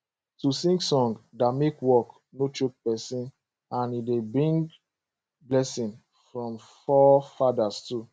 to sing song da make work no choke person and e da bring blessing from fore fadas too